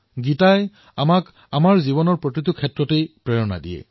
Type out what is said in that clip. গীতাই আমাৰ জীৱনৰ প্ৰতিটো সন্দৰ্ভত প্ৰেৰণা প্ৰদান কৰে